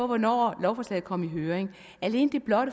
hvornår lovforslaget kom i høring alene det